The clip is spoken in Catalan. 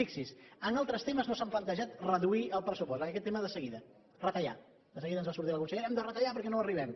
fixi s’hi en altres temes no s’han plantejat reduir el pressupost en aquest tema de seguida retallar de seguida ens va sortir la consellera hem de retallar perquè no hi arribem